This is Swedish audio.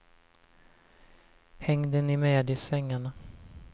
Hängde ni med i svängarna?